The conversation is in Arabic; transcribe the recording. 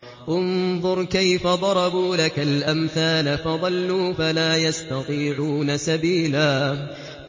انظُرْ كَيْفَ ضَرَبُوا لَكَ الْأَمْثَالَ فَضَلُّوا فَلَا يَسْتَطِيعُونَ سَبِيلًا